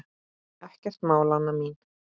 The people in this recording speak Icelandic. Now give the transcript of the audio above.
Ekkert mál, Anna mín.